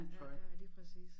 Ja ja lige præcis